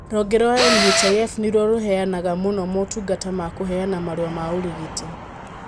Rũhonge rwa NHIF nĩruo rũheanaga mũno motungata ma kũheana marũa ma ũrigiti